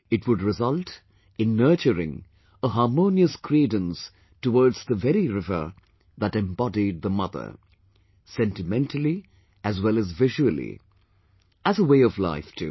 It would result in nurturing a harmonious credence towards the very river that embodied the Mother, sentimentally as well as visually...as a way of life too